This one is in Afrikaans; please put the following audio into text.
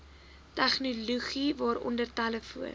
tegnologie waaronder telefoon